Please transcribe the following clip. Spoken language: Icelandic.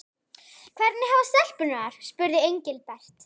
Hvernig hafa stelpurnar það? spurði Engilbert.